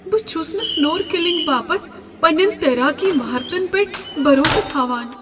بہٕ چھس نہٕ سنورکلنگ باپتھ پنٛنیٚن تیراکی مہارتن پؠٹھ بھروسہٕ تھاوان۔